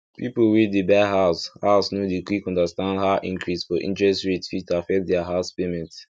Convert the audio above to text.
people wey dey buy house house no dey quick understand how increase for interest rate fit affect their house payment